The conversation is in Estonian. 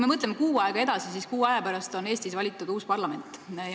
Mõtleme kuu aega edasi, siis on Eestis valitud uus parlament.